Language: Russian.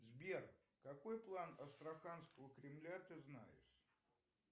сбер какой план астраханского кремля ты знаешь